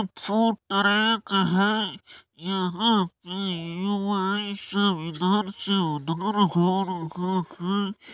Food track है यहां पे युवाएं सब इधर से उधर घूम रहे हैं।